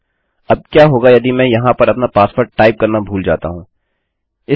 अब क्या होगा यदि मैं वहाँ पर अपना पासवर्ड टाइप करना भूल जाता हूँ160